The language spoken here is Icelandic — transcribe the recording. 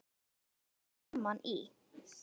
Komu þá saman í